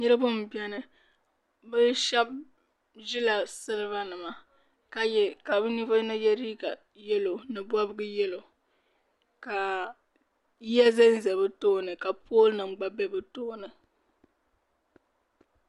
niriba m-beni bɛ shɛba ʒila silibanima ka bɛ ninvuɣ' yino ye liiga yɛlo ni bɔbiga yɛlo ka yiya za n-za bɛ tooni ka poolinima gba be bɛ tooni